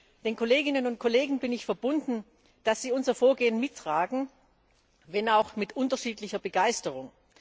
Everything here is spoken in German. Ich bin den Kolleginnen und Kollegen verbunden, dass sie unser Vorgehen mittragen, wenn auch mit unterschiedlicher Begeisterung.